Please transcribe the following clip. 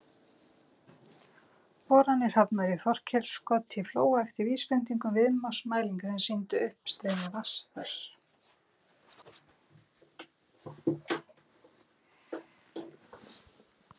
Boranir hafnar í Þorleifskoti í Flóa eftir vísbendingum viðnámsmælinga sem sýndu uppstreymi vatns þar.